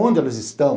Onde elas estão?